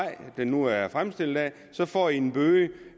det nu er fremstillet af så får i en bøde